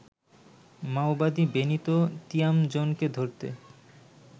মাওবাদী বেনিতো তিয়ামজোনকে ধরতে